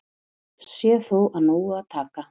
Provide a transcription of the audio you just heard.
Sé þó af nógu að taka